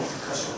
Heç bir maşın.